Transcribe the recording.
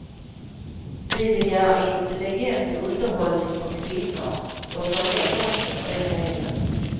Vi vill göra intelligent underhållning för kvinnor, och för män också för den delen.